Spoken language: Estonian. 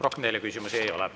Rohkem teile küsimusi ei ole.